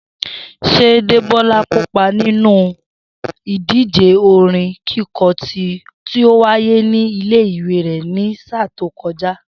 S̩é Débó̩lá kópa nínú ìdíje orin kíko̩ tí ó wáyé nílé ìwé rè̩ ní sáà tó ko̩já?